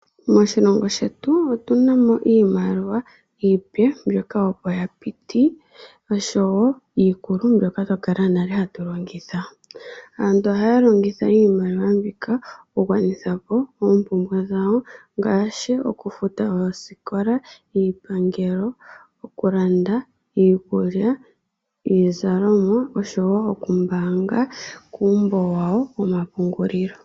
Moshilongo shetu otu na mo iimaliwa mbyoka opo ya piti noshowo iikulu mbyoka twa kala nale hatu longitha. Aantu ohaya longitha iimaliwa mbika okungwanithapo oompumbwe dhawo ngaashi: okufuta oosikola, iipangelo, okulanda iikulya, iizalalomwa, oshowo okumbaanga kuumbo wawo womapungulilo.